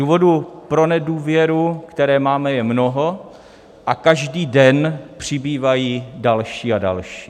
Důvodů pro nedůvěru, které máme, je mnoho a každý den přibývají další a další.